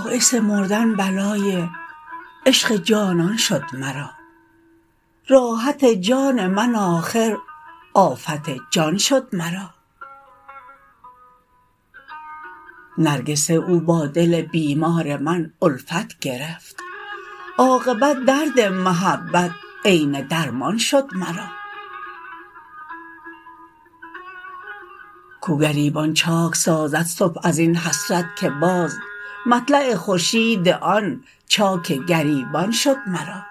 باعث مردن بلای عشق جانان شد مرا راحت جان من آخر آفت جان شد مرا نرگس او با دل بیمار من الفت گرفت عاقبت درد محبت عین درمان شد مرا کو گریبان چاک سازد صبح از این حسرت که باز مطلع خورشید آن چاک گریبان شد مرا